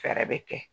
Fɛɛrɛ bɛ kɛ